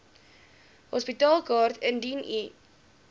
hospitaalkaart indien u